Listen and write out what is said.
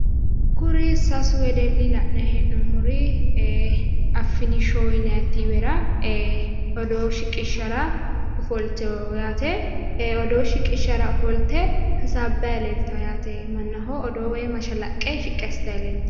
Kuri sasu wedelli la'nayi he'noommori ee affini showu yinaayi tiivera odoo shiqishshara ofoltewo yaate odoo shiqishshara ofolte hasaabbayi leeltawo yaate mannaho odoo woy mashalaqqe shiqqi assitayi leeltawo